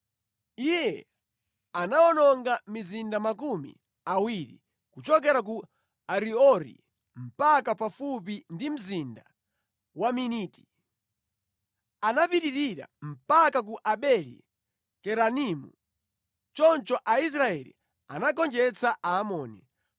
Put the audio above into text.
Iye anawononga mizinda makumi awiri kuchokera ku Ariori mpaka pafupi ndi mzinda wa Miniti. Anapitirira mpaka ku Abeli-Keranimu. Choncho Aisraeli anagonjetsa Aamoni.